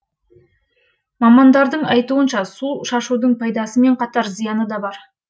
мамандардың айтуынша су шашудың пайдасымен қатар зияны да бар